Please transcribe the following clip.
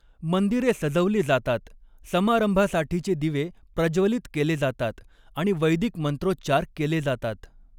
मंदिरे सजवली जातात, समारंभासाठीचे दिवे प्रज्वलित केले जातात आणि वैदिक मंत्रोच्चार केले जातात.